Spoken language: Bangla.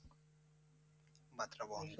মাত্রা বহন করে।